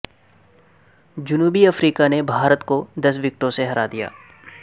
جنوبی افریقہ نے بھارت کو دس وکٹوں سے ہرا دیا